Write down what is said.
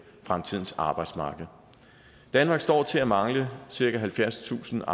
fremtidens arbejdsmarked danmark står til at mangle cirka halvfjerdstusind